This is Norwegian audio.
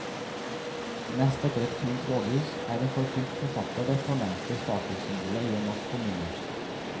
Nest etter et fint rådhus er en forfulgt forfatter det fornemste statussymbolet i en norsk kommune.